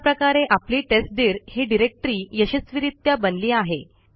अशा प्रकारे आपली टेस्टदीर ही डिरेक्टरी यशस्वीरित्या बनली आहे